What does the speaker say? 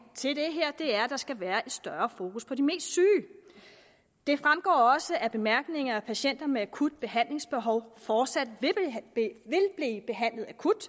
til det er at der skal være et større fokus på de mest syge det fremgår også af bemærkningerne at patienter med akut behandlingsbehov fortsat vil blive behandlet akut